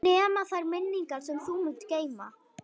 Nema þær minningar sem þú munt geyma.